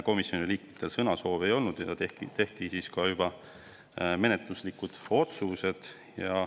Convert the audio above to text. Komisjoni liikmetel sõnasoove ei olnud ja tehti menetluslikud otsused.